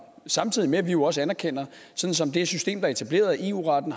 samtidig med at vi jo også anerkender sådan som det her system er etableret at eu retten